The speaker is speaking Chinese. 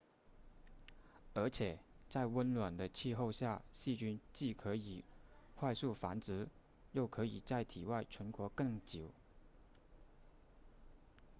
而且在温暖的气候下细菌既可以快速繁殖又可以在体外存活更久